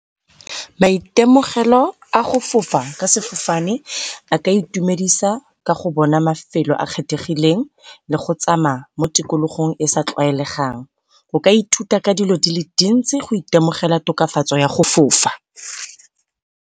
Maitemogelo a go fofa ka sefofane a ka itumedisa ka go bona mafelo a kgethegileng le go tsamaya mo tikologong e e sa tlwaelegang, o ka ithuta ka dilo dile dintsi go temogela tokafatso ya go fofa.